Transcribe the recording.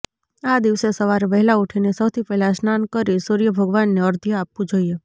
આ દિવસે સવારે વહેલા ઉઠીને સૌથી પહેલા સ્નાન કરી સૂર્ય ભગવાનને અર્ધ્ય આપવુ જોઈએ